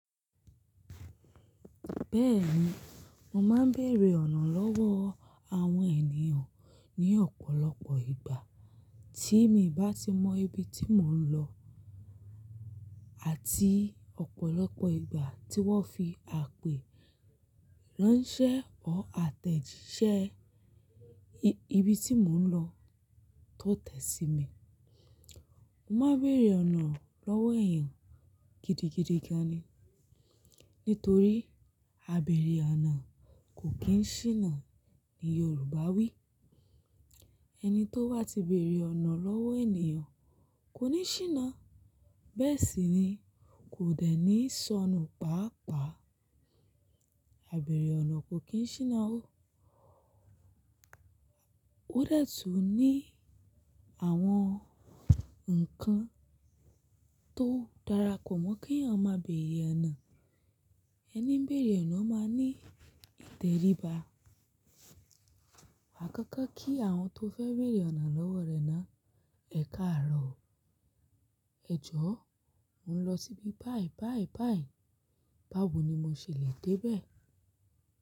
Bẹ́ẹ̀ni, mo máa ń bèrè ọ̀nà lọ́wọ́ àwọn ènìyàn ní ọ̀pọ̀lọpọ̀ ìgbà tí mi bá ti mọ ibi tí mò ń lọ àti ọ̀pọ̀lọpọ̀ ìgbà tí wọ́n fi àpè ránṣẹ́ ọ́r àtẹ̀jíṣẹ́ ibi tí mò ń lọ tó tẹ̀ sí mi. Mo máa ń bèrè ọ̀nà lọ́wọ́ èèyàn gidigidi gan ni. Nítorí "Àbẹ̀rẹ̀ ọ̀nà kò kì ṣíná" ni Yorùbá wí. Ẹni tó wá ti bèrè ọ̀nà lọ́wọ́ ènìyàn kò ní ṣíná. Bẹ́ẹ̀ sì ni kò dẹ́ni sọnù pàápàá. Àbẹ̀rẹ̀ ọ̀nà kò kì í ṣíná ó. Ó de tun ní àwọn ǹkan tó dára kò mọ́ ki èèyàn máa bèrè ọ̀nà. Ẹni ń bèrè ọ̀nà máa ní ìtẹríba. Àkọ́kọ́ kí àwọn tó fẹ́ bèrè ọ̀nà lọ́wọ́ rẹ náà, ẹ káàró. "Ẹ̀jọ̀, mò ń lọ síbi báyi báyi báyi, báwo ni mo ṣe le dé bẹ̀?"